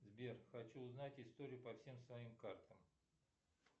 сбер хочу узнать историю по всем своим картам